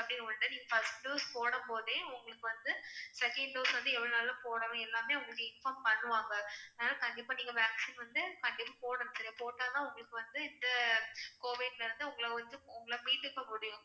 அப்படின்னு ரெண்டு. first dose போடும் போது உங்களுக்கு வந்து second dose வந்து எவ்வளவு நாளுல போடணும் எல்லாமே உங்களுக்கு inform பண்ணுவாங்க. அதனால கண்டிப்பா நீங்க vaccine வந்து கண்டிப்பா போடணும். நீங்க போட்டாதான் உங்களுக்கு வந்து இந்த covid ல இருந்து உங்கள வந்து உங்கள மீட்டுக்க முடியும்.